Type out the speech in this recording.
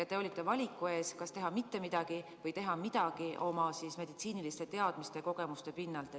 Te olite valiku ees, kas teha mitte midagi või teha midagi oma meditsiiniliste teadmiste ja kogemuste pinnal.